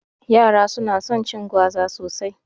Yara su na son cin gwaza sosai